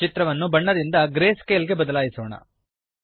ಚಿತ್ರವನ್ನು ಬಣ್ಣದಿಂದ ಗ್ರೇಸ್ಕೇಲ್ ಗೆ ಬದಲಾಯಿಸೋಣ